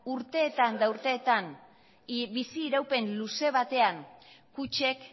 urteetan eta urteetan bizi iraupen luze batean kutxek